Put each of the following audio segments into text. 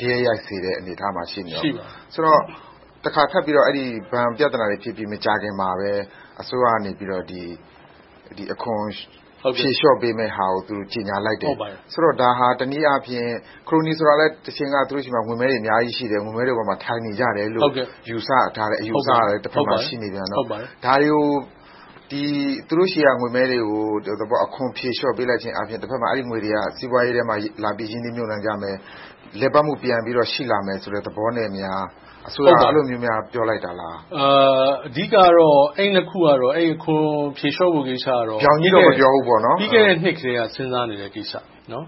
ဂယက်ရိုက်စေမယ့် အနေအထားမှာ ရှိနေတယ်။ ဆိုတော့ တခါထပ်ပြီး ဘဏ်ပြဿနာတွေဖြစ်ပြီး မကြာခင်မှာပဲ အစိုးရကနေ အခွန်ဖြေလျှော့ပေးမယ့်ဟာကို သူတို့ ကြေညာလိုက်တယ်။ ဆိုတော့ ဒါဟာ တနည်းအားဖြင့် ခရိုနီဆိုတာလဲ တချိန်က သူတို့ဆီမှာ ငွေမဲတွေ အများကြီးရှိတယ်။ ငွေမဲတွေပေါ်မှာ ထိုင်နေကြတယ်လို့ ယူဆထားတဲ့ အယူအဆကလည်း တဘက်မှာရှိနေတော့ သူတို့ဆီက ငွေမဲတွေကို အခွန်ဖြေလျှော့ပေးလိုက်ခြင်းအာဖြင့် တဘက်မှာ စီးပွားရေးထဲမှာ လာပြီးတော့ ရင်းနှီးကြမယ်။ လည်ပတ်မှု ပြန်ပြီးတော့ ရှိလာမယ်ဆိုတဲ့ သဘောနဲ့များ အစိုးရက အဲဒီလိုများ ပြောလိုက်တာလား။ အဓိကတော့ အဲဒီနှစ်ခုမှာတော့ အခွန်ဖြေလျှော့ဖို့ကတော့ ပြီးခဲ့တဲ့နှစ်ကတည်းက စဉ်းစားထားခဲ့တဲ့ ကိစ္စပါ။ ဒါ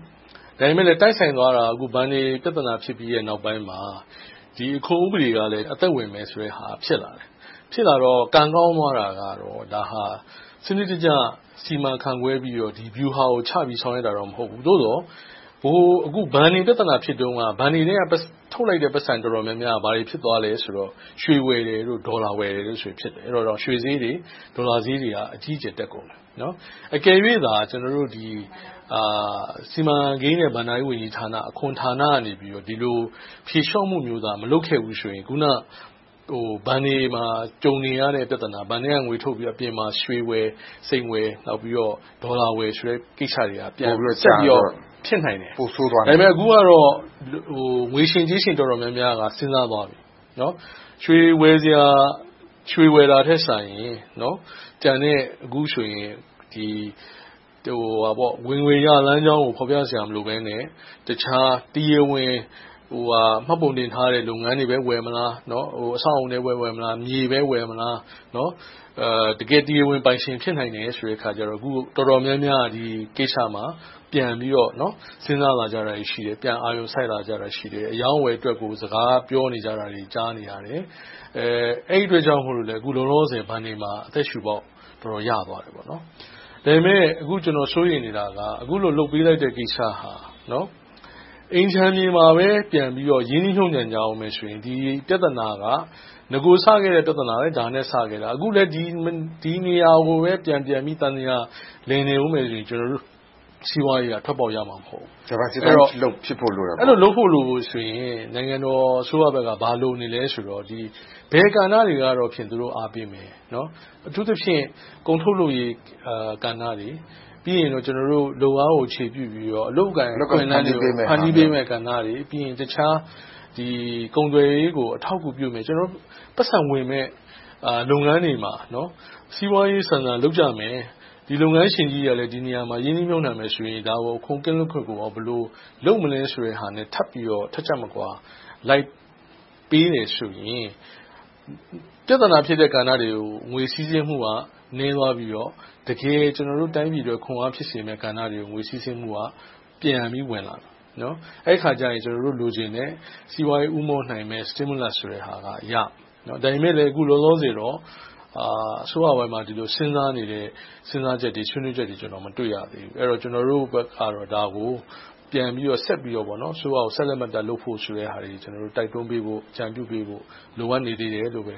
ပေမဲ့လဲ တိုက်ဆိုင်သွားတာက ဘဏ်တွေ ပြဿနာတွေ ဖြစ်ပြီးတဲ့နောက်ပိုင်းမှာ အခွန်ဥပဒေကလည်း အသက်ဝင်မယ်ဆိုတဲ့ဟာ ဖြစ်လာတယ်။ ဖြစ်လာတော့ ကံကောင်းသွားတာက ဒါဟာ စနစ်တကျ စီမံခန့်ခွဲပြီးတော့ ဒီဗျူဟာကိုချပြီး လုပ်ဆောင်တာတော့ မဟုတ်ဘူး။ သို့သော် ဘဏ်တွေပြဿနာ ဖြစ်တုန်းက ဘဏ်တွေထဲက ထုတ်လိုက်တဲ့ ပိုက်ဆံတော်တော်များများက ဘာတွေဖြစ်သွားသလဲဆိုတော့ ရွှေဝယ်၊ ဒေါ်လာဝယ် ဖြစ်သွားခဲ့တယ်။ အဲဒီတုန်းက ရွှေဈေး၊ ဒေါ်လာဈေးတွေက အကြီးအကျယ်တက်ကုန်တယ်။ အကယ်၍သာ ဒါကို စီမံကိန်းနဲ့ ဘဏ္ဍာရေးဝန်ကြီးဌာန၊ အခွန်ဌာနကနေ ဒီလိုဖြေလျှော့မှုမျိုးသာ မလုပ်ခဲ့ဘူးဆိုရင် အခုနဘဏ်တွေမှာ ကြုံနေရတဲ့ ပြဿနာ - ဘဏ်ထဲကငွေထုတ်ပြီးတော့ အပြင်မှာ ရွှေဝယ်၊ စိန်ဝယ်၊ ဒေါ်လာဝယ်တဲ့ ကိစ္စတွေက ပိုပြီးတော့ ဖြစ်နိုင်တယ်။ အခုကတော့ ငွေရှင်ကြေးရှင် တော်တော်များများက စဉ်းစားသွားပြီ။ ရွှေဝယ်တာထက်စာရင် ကျန်တဲ့ ဝင်ငွေရလမ်းကြောင်းကို ဖော်ပြစရာ မလိုဘဲနဲ့ တခြားတရားဝင် မှတ်ပုံတင်ထားတဲ့ လုပ်ငန်းတွေ ဝယ်မလား။ အဆောက်အအုံတွေ ဝယ်မလား။ မြေပဲဝယ်မလား။ တကယ့် တရားဝင်ပိုင်ရှင် ဖြစ်နိုင်တယ်ဆိုတော့ အခုတော်တော်များများက ဒီကိစ္စမှာ ပြန်ပြီးတော့ စဉ်းစားလာကြတာရှိတယ်။ ပြန်အာရုံစိုက်လာကြတာ ရှိတယ်။ အရောင်းအဝယ်အတွက်ကို စကားပြောလာကြတာတွေ ကြားနေရတယ်။ အဲဒီအတွက်ကြောင့် အခုလောလောဆယ် ဘဏ်တွေမှာ အသက်ရှုပေါက် အတော်ရသွားတယ်။ ဒါပေမဲ့ အခုကျနော် စိုးရိမ်နေတာက အခုလိုလုပ်ပေးလိုက်တဲ့ ကိစ္စဟာ အိမ်ခြံမြေမှာပဲ ပြန်ပြီးတော့ ရင်းနှီးမြုပ်နံှနေကြမယ်ဆိုရင်တော့ ဒီပြဿနာက နဂိုစခဲ့တဲ့ ပြဿနာက ဒါနဲ့ပဲ စခဲ့တယ်။ အခုလဲ ဒီနေရာကိုပဲ ပြန်ပြန်ပြီး သံသရာ လည်နေအုံးမယ်ဆိုရင် ကျနော်တို့ စီးပွားရေးက ထွက်ပေါက်ရမှာ မဟုတ်ဘူး။ Diversify လုပ်ဖို့လိုတယ်သဘောပေါ့။ အဲဒီလို လုပ်ဖို့ဆိုရင် နိုင်ငံတော်အစိုးရဘက်က ဘာလိုနေလဲဆိုတော့ ဘယ်ကဏ္ဍတွေကိုတော့ သူတို့အားပေးမယ်။ အထူးသဖြင့် ကုန်ထုတ်လုပ်ရေးကဏ္ဍတွေ။ ပြီးနောက် လုပ်အားကိုအခြေပြုပြီးတော့ အလုပ်အကိုင် အခွင့်အလမ်းတွေကို ဖန်တီးပေးမယ့်ကဏ္ဍတွေ။ ပြီးရင် တခြားကုန်သွယ်ရေးကို အထောက်အကူပြုမယ့် ပိုက်ဆံဝင်မယ့် လုပ်ငန်းတွေမှာ စီးပွားရေးဆန်ဆန် လုပ်ကြမယ်။ လုပ်ငန်းရှင်ကြီးတွေကလည်း ဒီနေရာမှာ ရင်းနှီးမြုပ်နံှမယ်ဆိုရင် အခွန်ကင်းလွတ်ခွင့် လုပ်မလဲဆိုတဲ့ဟာနဲ့ ထပ်ချပ်မကွာ လိုက်ပေးတယ်ဆိုရင်တော့ ပြဿနာဖြစ်တဲ့ ကဏ္ဍတွေကို ငွေစီးဆင်းမှုက နည်းသွားပြီးတော့ တကယ်ကျနော်တို့ တိုင်းပြည်အတွက် ခွန်အားဖြစ်စေမယ့် ကဏ္ဍတွေ ငွေစီးဆင်းမှုက ပြန်ပြီးတော့ ဝင်လာမယ်။ အဲဒီအခါကြရင် ကျနော်တို့ လိုချင်တဲ့ စီးပွားရေး ဦးမော့လာမယ့် stimulus ဆိုတာကို ရမယ်။ ဒါပေမဲ့လဲ အခုလောလောဆယ်တော့ အစိုးပိုင်မှာ ဒီလိုစဉ်းစားနေတဲ့ စဉ်းစားချက်တွေ၊ ဆွေးနွေးချက်တွေကို မတွေ့ရသေးဘူး။ ကျနော်တို့ဘက်ကတော့ ဒါကို ပြန်ပြီးတော့၊ ဆက်ပြီးတော့ ဆက်လက်လုပ်ဖို့ဆိုတာတွေကို တိုက်တွန်းပေးဖို့၊ အကြံပြုပေးဖို့ လိုအပ်နေသေးတယ်လို့ပဲ